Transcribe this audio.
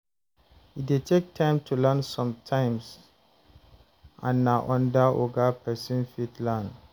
E det take time to learn sometimes and na under oga person fit learn